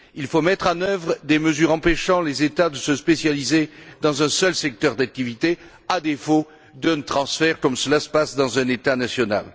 Il faut mettre en œuvre des mesures empêchant les États de se spécialiser dans un seul secteur d'activité, à défaut d'un transfert comme cela se passe dans un État national.